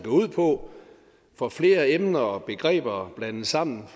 ud på for flere emner og begreber er blandet sammen